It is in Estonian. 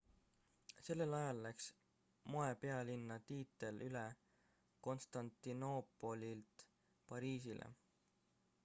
sellel ajal läks moepealinna tiitel üle konstantinoopolilt pariisile